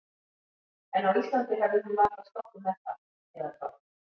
En á Íslandi hefði hún varla sloppið með það, eða hvað?